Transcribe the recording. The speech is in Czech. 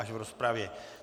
Až v rozpravě.